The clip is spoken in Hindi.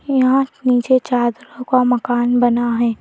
यहां नीचे चादरों का मकान बना है।